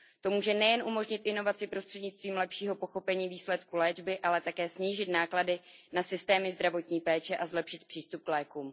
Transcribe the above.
To může nejen umožnit inovaci prostřednictvím lepšího pochopení výsledků léčby, ale také snížit náklady na systémy zdravotní péče a zlepšit přístup k lékům.